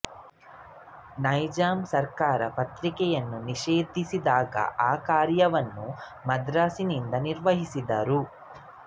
ನೈಜಾಮ ಸರ್ಕಾರ ಪತ್ರಿಕೆಯನ್ನು ನಿಷೇಧಿಸಿದಾಗ ಆ ಕಾರ್ಯವನ್ನು ಮದ್ರಾಸಿನಿಂದ ನಿರ್ವಹಿಸಿದರು